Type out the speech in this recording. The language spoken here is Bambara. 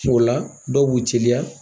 O la, dɔw bu teliya.